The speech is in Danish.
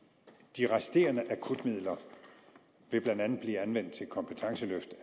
de resterende akutmidler vil blandt andet blive anvendt til kompetenceløft af